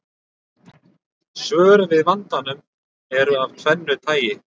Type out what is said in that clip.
Svör við vandanum eru af tvennu tagi.